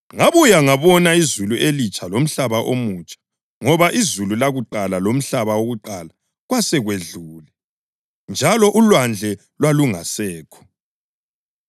Ngabuya ngabona “izulu elitsha lomhlaba omutsha,” + 21.1 U-Isaya 65.17 ngoba izulu lakuqala lomhlaba wakuqala kwasekudlule njalo ulwandle lwalungasekho.